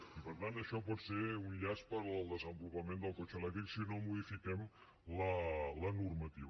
i per tant això pot ser un llast per al desenvolupament del cotxe elèctric si no modifiquem la normativa